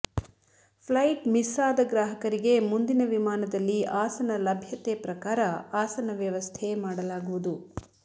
flight miss ಆದ ಗ್ರಾಹಕರಿಗೆ ಮುಂದಿನ ವಿಮಾನದಲ್ಲಿ ಆಸನ ಲಭ್ಯತೆ ಪ್ರಕಾರ ಆಸನ ವ್ಯವಸ್ಥೆ ಮಾಡಲಾಗುವುದು